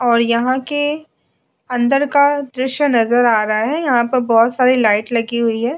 और यहां के अंदर का दृश्य नजर आ रहा है यहां पर बहुत सारी लाइट लगी हुई है।